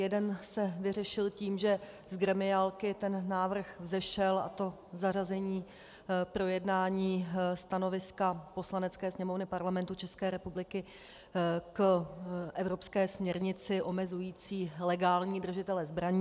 Jeden se vyřešil tím, že z gremiálky ten návrh vzešel, a to zařazení projednání stanoviska Poslanecké sněmovny Parlamentu České republiky k evropské směrnici omezující legální držitele zbraní.